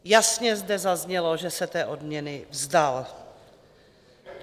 Jasně zde zaznělo, že se té odměny vzdal.